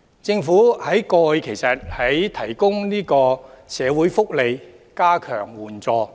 事實上，過去政府在提供社會福利、加強援助